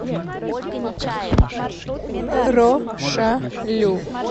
рошалю